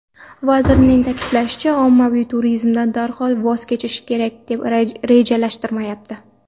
Vazirning ta’kidlashicha, ommaviy turizmdan darhol voz kechish rejalashtirilmayapti.